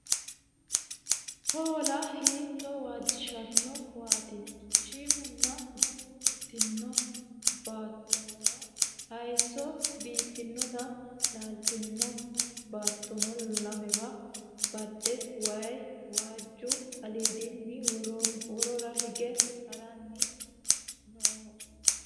Hoola!! Hiito waajishano waati shiimunni Gotti yittino baattora haayisso biiffanoti leelitanoe baatonno lemewa bade wayi waajju aliddini worora higge harranni nooho